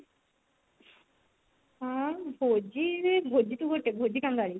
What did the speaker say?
ହଁ ଭୋଜି ଭୋଜି କଣ ତୁ ଭୋଜି କଙ୍ଗାଳୀ